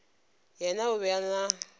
yena o be a na